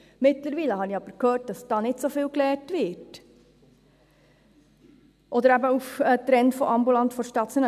mittlerweile habe ich aber gehört, dass da nicht so viel gelernt wird – oder der Trend «ambulant vor stationär».